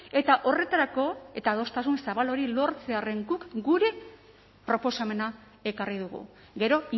eta horretarako eta adostasun zabal hori lortzearren guk gure proposamena ekarri dugu gero